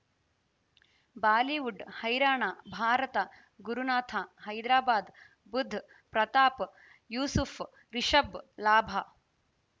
Bollywood ಹೈರಾಣ ಭಾರತ ಗುರುನಾಥ ಹೈದರಾಬಾದ್ ಬುಧ್ ಪ್ರತಾಪ್ ಯೂಸುಫ್ ರಿಷಬ್ ಲಾಭ